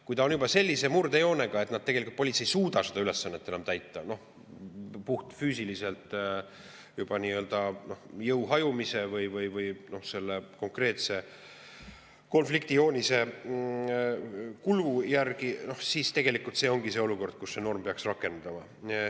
Kui tegu on juba sellise murdejoonega, et tegelikult politsei ei suuda seda ülesannet täita, puhtfüüsiliselt jõu hajumise või konkreetse konflikti kulu tõttu, siis see ongi olukord, kus see norm peaks rakenduma.